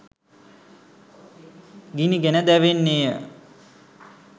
ගිනිගෙන දැවෙන්නේ ය.